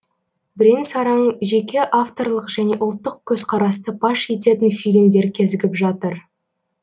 бірең сараң жеке авторлық және ұлттық көзқарасты паш ететін фильмдер кезігіп жатыр